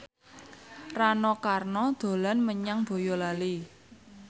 Rano Karno dolan menyang Boyolali